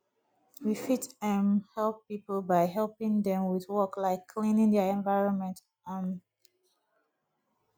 we fit um help pipo by helping them with work like cleaning their environment um